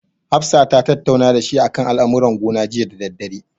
Hafsa ta tattauna dashi akan al'amuran gona jiya da daddare.